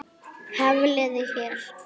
Hafliði hér.